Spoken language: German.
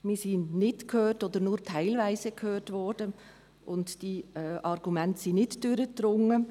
Wir wurden nicht oder nur teilweise gehört, und die Argumente sind nicht durchgedrungen.